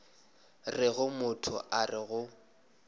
rego motho a re go